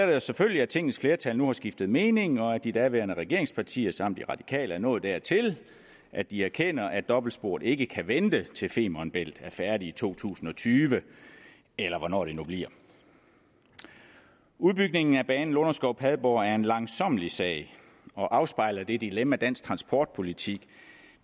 det os selvfølgelig at tingets flertal nu har skiftet mening og at de daværende regeringspartier samt de radikale er nået dertil at de erkender at dobbeltsporet ikke kan vente til femern bælt er færdig i to tusind og tyve eller hvornår det nu bliver udbygningen af banen lunderskov padborg er en langsommelig sag og afspejler det dilemma dansk transportpolitik